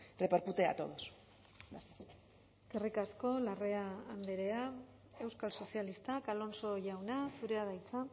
repercute a todos eskerrik asko larrea andrea euskal sozialistak alonso jauna zurea da hitza